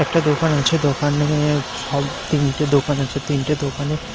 একটা দোকান আছে দোকানে সব তিনটে দোকান আছে তিনটে দোকানে--